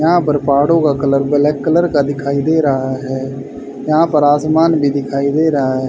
यहां पर पहाड़ों का कलर ब्लैक कलर का दिखाई दे रहा है यहां पर आसमान भी दिखाई दे रहा--